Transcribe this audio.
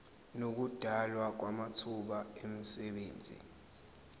nokudalwa kwamathuba emisebenzi